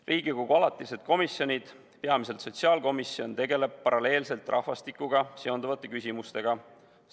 Riigikogu alatised komisjonid, peamiselt küll sotsiaalkomisjon, tegelevad paralleelselt rahvastikuga seonduvate küsimustega.